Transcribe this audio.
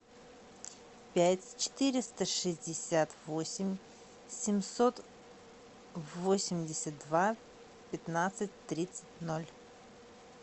пять четыреста шестьдесят восемь семьсот восемьдесят два пятнадцать тридцать ноль